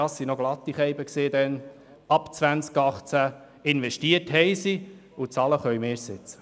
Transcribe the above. Das waren lustige Kerle damals – sie haben ab 2018 investiert, und bezahlen müssen wir jetzt.